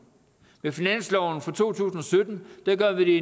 med finansloven for to tusind og sytten gør vi det